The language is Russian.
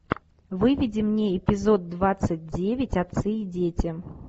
выведи мне эпизод двадцать девять отцы и дети